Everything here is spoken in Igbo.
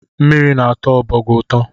Mmiri na-atọ ọbọgwụ ụtọ